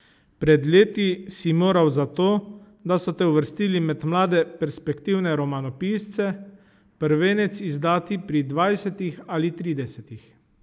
Pred leti si moral za to, da so te uvrstili med mlade perspektivne romanopisce, prvenec izdati pri dvajsetih ali tridesetih.